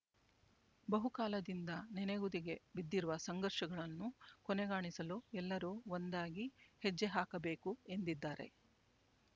ಬಹುಕಾಲದಿಂದ ನೆನೆಗುದಿಗೆ ಬಿದ್ದಿರುವ ಸಂಘರ್ಷಗಳನ್ನು ಕೊನೆಗಾಣಿಸಲು ಎಲ್ಲರೂ ಒಂದಾಗಿ ಹೆಜ್ಜೆ ಹಾಕಬೇಕು ಎಂದಿದ್ದಾರೆ